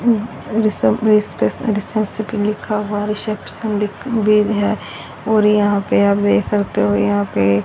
reception लिखा हुआ reception ली भी है और यहां पे आप देख सकते हो यहां पे--